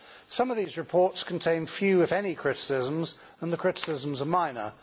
Some of these reports contain few, if any, criticisms, and the criticisms are minor.